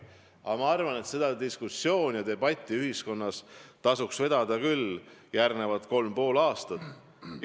Ma arvan, et seda diskussiooni ja debatti ühiskonnas tasuks vedada veel järgmised kolm ja pool aastat.